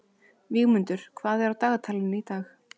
Vígmundur, hvað er á dagatalinu í dag?